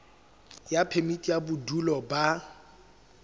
ya phemiti ya bodulo ba